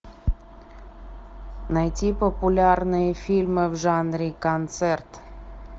найти популярные фильмы в жанре концерт